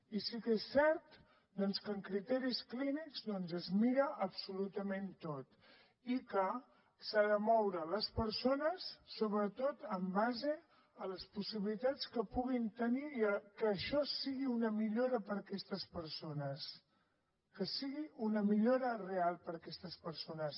i sí que és cert que amb criteris clínics doncs es mira absolutament tot i que s’han de moure les persones sobretot en base a les possibilitats que puguin tenir i a que això sigui una millora per a aquestes persones que sigui una millora real per a aquestes persones